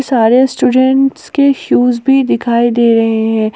सारे स्टूडेंट्स के शूज भी दिखाई दे रहे हैं।